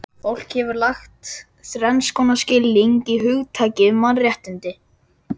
Fólk hefur lagt þrenns konar skilning í hugtakið mannréttindi.